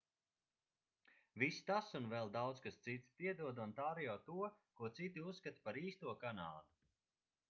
viss tas un vēl daudz kas cits piedod ontārio to ko citi uzskata par īsto kanādu